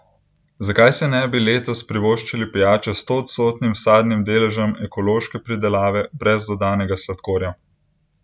Zakaj si ne bi letos privoščili pijače s stoodstotnim sadnim deležem ekološke pridelave brez dodanega sladkorja?